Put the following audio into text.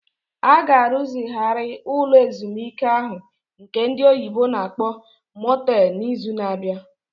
A ga-arụzigharị ụlọ ezumike ahụ nke ndị oyibo na-akpọ Motel n'izu na-abịa.